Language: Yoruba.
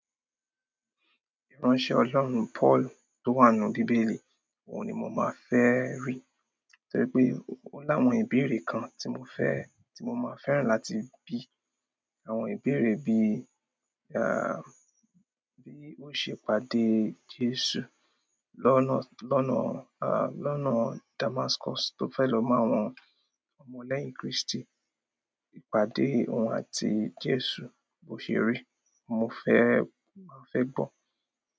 Ìránṣẹ́ Ọlọ́run Pọ́ọ̀lù tó wà nínú Bíbélì, òun ni mo máa fẹ́ rí. Torí pé ó láwọn ìbéèrè kan tí mo fẹ́, tí mo máa fẹ́ràn láti bí àwọn ìbéèrè bí, à, bí ó ṣe pàdé Jésù lọ́nà, lọ́nà, à, lọ́nà Damascus tó fẹ́ lọ mọ́ àwọn ọmọ lẹ́yìn Krístì. Ìpàdé òun àti Jésù bọ́sè rí, mo fẹ́, mo fẹ́ gbọ́